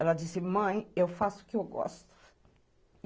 Ela disse, mãe, eu faço o que eu gosto.